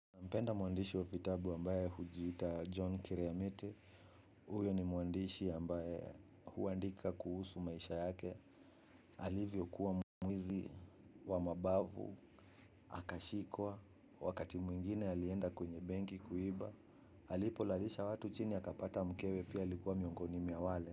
Mpenda mwandishi wa vitabu ambaye hujiita John Kireamite. Huyo ni mwandishi ambaye huandika kuhusu maisha yake. Alivyokuwa mwizi wa mabavu. Akashikwa. Wakati mwingine alienda kwenye benki kuiba. Alipolalisha watu chini, akapata mkewe pia alikuwa miongoni mwa wale.